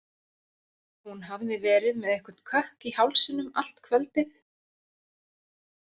Hún hafði verið með einhvern kökk í hálsinum allt kvöldið.